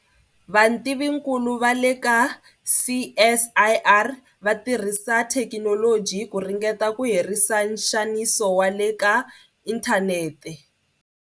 VATIVINKULU VA LE KA CSIR va tirhisa thekinoloji ku ringeta ku herisa nxaniso wa le ka inthanete.